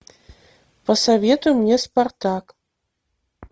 посоветуй мне спартак